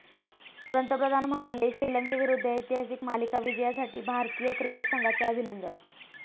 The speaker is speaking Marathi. पंतप्रधान म्हणाले, श्रीलंकेविरुद्ध ऐतिहासिक मालिका विजयासाठी भारतीय क्रिकेट संघाचे अभिनंदन.